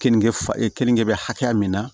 Keninke fa keninge bɛ hakɛya min na